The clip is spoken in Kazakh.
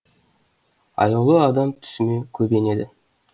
аяулы адам түсіме көп енеді